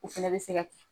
O fɛnɛ bɛ se ka kɛ